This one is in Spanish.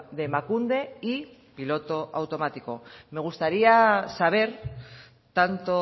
de emakunde y piloto automático me gustaría saber tanto